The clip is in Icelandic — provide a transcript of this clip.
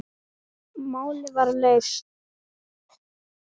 Málið var leyst.